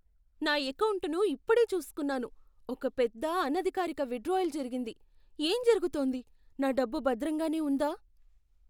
నా ఎకౌంటును ఇప్పుడే చూసుకున్నాను, ఒక పెద్ద, అనధికారిక విత్డ్రాయల్ జరిగింది. ఏం జరుగుతోంది? నా డబ్బు భద్రంగానే ఉందా?